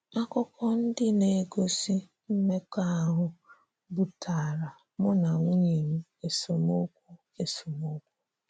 Akụkọ ndị na - egosi mmekọahụ butaara mụ na nwunye m esemokwu esemokwu.